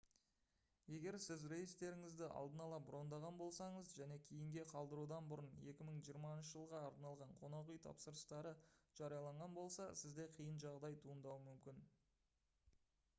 егер сіз рейстеріңізді алдын ала брондаған болсаңыз және кейінге қалдырудан бұрын 2020 жылға арналған қонақ үй тапсырыстары жарияланған болса сізде қиын жағдай туындауы мүмкін